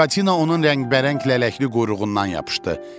Buratina onun rəngbərəng lələkli quyruğundan yapışdı.